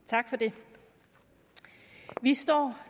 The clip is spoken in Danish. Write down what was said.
tak for det vi står